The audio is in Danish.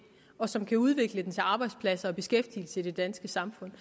og som kan udvikle den til arbejdspladser og beskæftigelse i det danske samfund